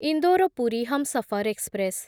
Indore Puri Humsafar express